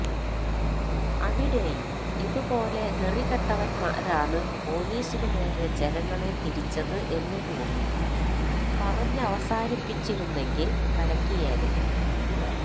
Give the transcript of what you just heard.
അവിടെയും ഇതുപോലെ നെറികെട്ടവന്മാരാണ് പോലീസിനുനേരെ ജനങ്ങളെ തിരിച്ചത് എന്നുകൂടി പറഞ്ഞവസാനിപ്പിച്ചിരുന്നെങ്കിൽ കലക്കിയേനെ